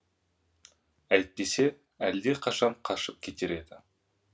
әйтпесе әлдеқашан қашып кетер еді